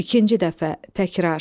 İkinci dəfə, təkrar.